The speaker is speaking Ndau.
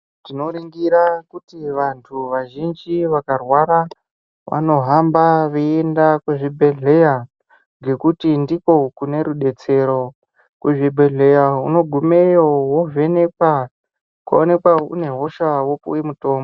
Tinoningira kuti vantu vazhinji Vakarwara vanohamba veienda kuzvibhedhlera ngekuti ndiko kune rudetsero Kuzvibhedhlera unogumayo wovhenekwa kuonekwa une hosha wopuwa mutombo.